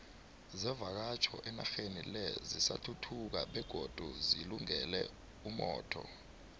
zevakatjho enaxheni le zisathuthuka begodu zilungele umotho